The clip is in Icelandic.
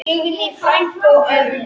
Signý frænka og Örn.